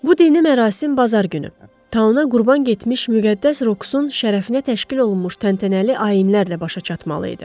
Bu dini mərasim bazar günü Tau-na qurban getmiş müqəddəs Roku-sun şərəfinə təşkil olunmuş təntənəli ayinlərlə başa çatmalı idi.